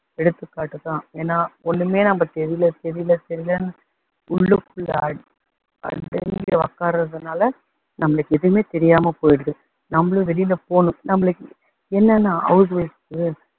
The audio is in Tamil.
எடுத்துக்காட்டு தான். ஏன்னா ஒண்ணுமே நம்ம தெரியல தெரியல தெரியலன்னு உள்ளுக்குள்ள உக்காரதுனால நம்மளுக்கு எதுவுமே தெரியாம போயிடுது, நம்மளும் வெளியில போகணும் நம்மளுக்கு என்னன்னா house wife க்கு